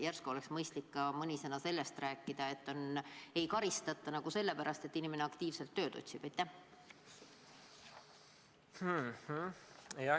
Järsku oleks mõistlik mõni sõna sellestki rääkida, et võiks olla nii, et inimest ei karistata nagu selle pärast, et ta aktiivselt tööd otsib?